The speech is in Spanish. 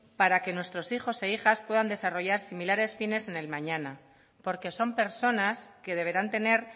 para que nuestros hijos e hijas puedan desarrollar similares fines en el mañana porque son personas que deberán tener